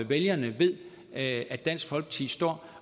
vælgerne ved at dansk folkeparti står